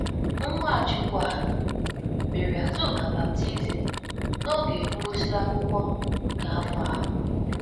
Nwachukwu um mere Azuka baptizim n'oge mgbụsị akwụkwọ nke afọ ahụ.